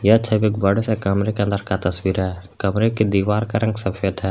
यह छवि एक बड़े से कमरे के अंदर का तस्वीर है कमरे की दीवार का रंग सफेद है।